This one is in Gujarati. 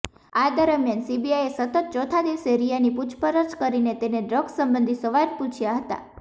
આ દરમિયાન સીબીઆઇએ સતત ચોથા દિવસે રિયાની પૂછપરછ કરીને તેને ડ્રગ સંબંધી સવાલ પૂછયા હતા